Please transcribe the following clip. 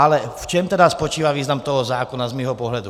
Ale v čem tedy spočívá význam toho zákona z mého pohledu?